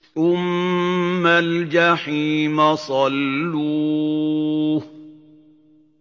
ثُمَّ الْجَحِيمَ صَلُّوهُ